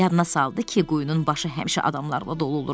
Yadına saldı ki, quyunun başı həmişə adamlarla dolu olur.